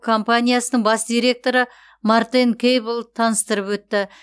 компаниясының бас иректоры мортен кэйблл таныстырып өтті